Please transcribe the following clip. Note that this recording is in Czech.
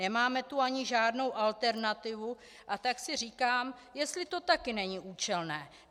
Nemáme tu ani žádnou alternativu, a tak si říkám, jestli to také není účelné.